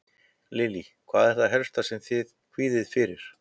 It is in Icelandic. Lillý: Og hvað er það helst sem þið kvíðið fyrir?